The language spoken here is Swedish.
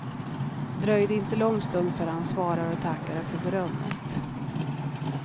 Det dröjde inte lång stund förrän han svarade och tackade för berömmet.